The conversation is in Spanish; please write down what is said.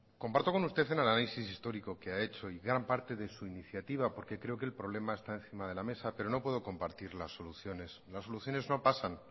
comparto con usted el análisis histórico que ha hecho en gran parte de su iniciativa porque creo que el problema está encima de la mesa pero no puedo compartir las soluciones las soluciones no pasan